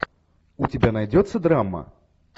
у тебя найдется драма